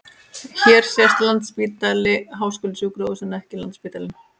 Hér sést Landspítali- háskólasjúkrahús en ekki Landsspítalinn.